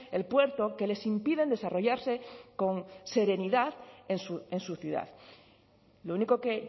el puerto que les impiden desarrollarse con serenidad en su ciudad lo único que